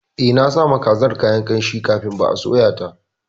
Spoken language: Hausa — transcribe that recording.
Eh, nasawa kazar kayan ƙamshi kafin ba soya ta.